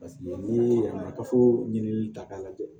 n'i ye kafo ɲinini ta k'a lajɛ